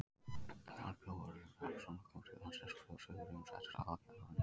Þar bjó Örlygur Hrappsson sem kom til landsins frá Suðureyjum og settist að á Kjalarnesi.